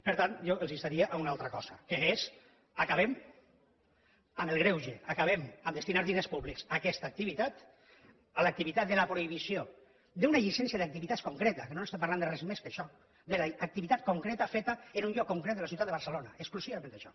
per tant jo els instaria a una altra cosa que és acabem amb el greuge acabem amb el fet de destinar diners públics a aquesta activitat a l’activitat de la prohibició d’una llicència d’activitats concreta que no estem parlant de res més que d’això de l’activitat concreta feta en un lloc concret de la ciutat de barcelona exclusivament d’això